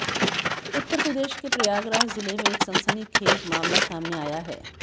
उत्तर प्रदेश के प्रयागराज जिले में एक सनसनीखेज मामला सामने आया है